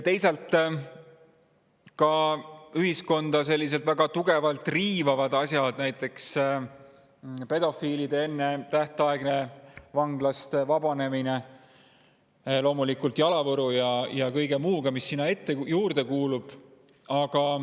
Ühiskonda riivab väga tugevalt ka näiteks pedofiilide ennetähtaegne vanglast vabanemine, loomulikult jalavõru ja kõige muuga, mis sinna juurde kuulub.